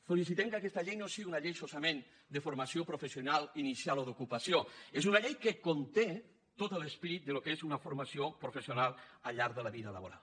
felicitem que aquesta llei no sigui una llei solament de formació professional inicial o d’ocupació és una llei que conté tot l’esperit del que és una formació professional al llarg de la vida laboral